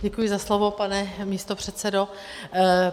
Děkuji za slovo, pane místopředsedo.